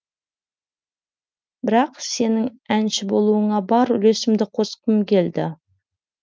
бірақ сенің әнші болуыңа бар үлесімді қосқым келді